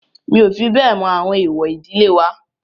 Mi ò fi bẹ́ẹ̀ mọ àwọn èwọ̀ ìdílé wa.